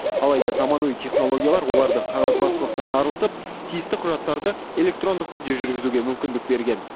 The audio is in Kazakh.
алайда заманауи технологиялар оларды қағазбастылықтан арылтып тиісті құжаттарды электрондық түрде жүргізуге мүмкіндік берген